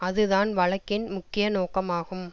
அது தான் வழக்கின் முக்கிய நோக்கமாகும்